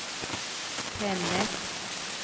Tännäs